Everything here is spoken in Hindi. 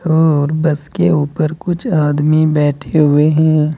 और बस के ऊपर कुछ आदमी बैठे हुए हैं।